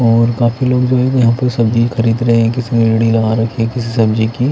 और काफी लोग जो हैं यहाँ पर सब्जी खरीद रहे हैं किसी ने रेड़ी लगा रखी है किसी सब्जी की--